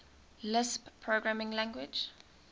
lisp programming language